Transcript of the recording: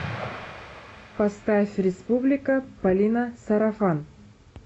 поставь республика полина сарафан